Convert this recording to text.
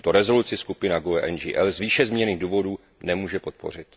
Tuto rezoluci skupina GUE NGL z výše zmíněných důvodů nemůže podpořit.